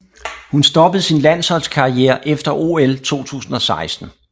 Hun stoppede sin landsholdskarriere efter OL 2016